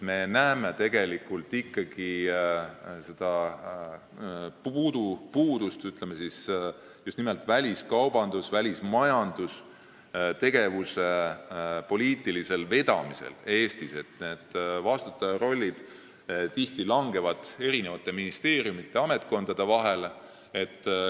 Me näeme Eestis n-ö puudusi just nimelt väliskaubandus- ja välismajandustegevuse poliitilisel vedamisel: vastutaja roll langeb tihti eri ministeeriumide ja ametkondade vahele.